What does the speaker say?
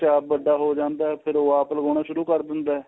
ਬੱਚਾ ਆਪ ਵੱਡਾ ਹੋ ਜਾਂਦਾ ਫੇਰ ਉਹ ਆਪ ਲਗਾਉਣਾ ਸ਼ੁਰੂ ਕਰ ਦਿੰਦਾ